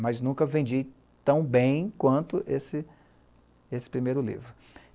Mas nunca vendi tão bem quanto esse primeiro livro.